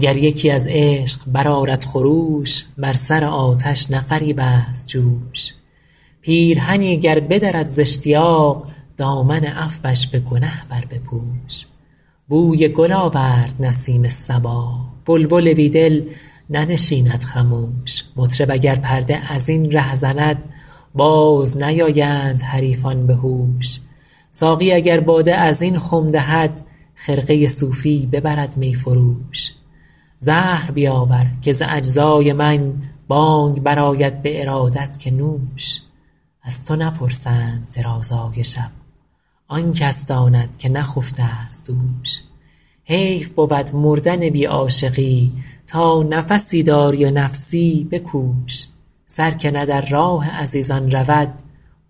گر یکی از عشق برآرد خروش بر سر آتش نه غریب است جوش پیرهنی گر بدرد زاشتیاق دامن عفوش به گنه بربپوش بوی گل آورد نسیم صبا بلبل بی دل ننشیند خموش مطرب اگر پرده از این ره زند باز نیایند حریفان به هوش ساقی اگر باده از این خم دهد خرقه صوفی ببرد می فروش زهر بیاور که ز اجزای من بانگ برآید به ارادت که نوش از تو نپرسند درازای شب آن کس داند که نخفته ست دوش حیف بود مردن بی عاشقی تا نفسی داری و نفسی بکوش سر که نه در راه عزیزان رود